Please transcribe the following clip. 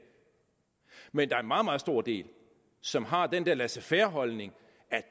men der er en meget meget stor del som har den der laissez faire holdning at